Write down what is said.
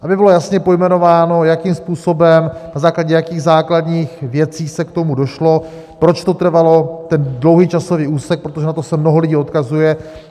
Aby bylo jasně pojmenováno, jakým způsobem, na základě jakých základních věcí se k tomu došlo, proč to trvalo ten dlouhý časový úsek, protože na to se mnoho lidí odkazuje.